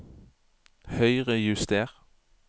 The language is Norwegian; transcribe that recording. Høyrejuster